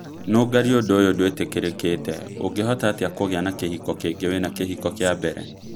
Nũngari ũndũ ũyo ndũitikĩrĩkĩte ũngehota atĩa kũgĩa na kĩhiko kĩngĩ wĩna kĩhiko kia mbere